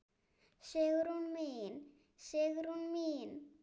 Sigrún mín, Sigrún mín.